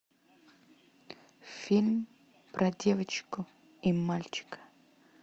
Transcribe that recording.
фильм про девочку и мальчика